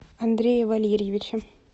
андрея валерьевича